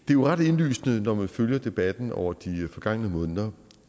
jo ret indlysende når man følger debatten over de forgangne måneder